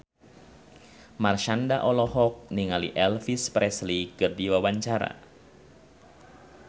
Marshanda olohok ningali Elvis Presley keur diwawancara